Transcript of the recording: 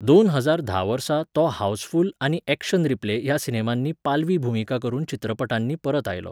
दोन हजार धा वर्सा तो हावसफुल आनी ऍक्शन रिप्ले ह्या सिनेमांनी पालवी भुमिका करून चित्रपटांनी परत आयलो.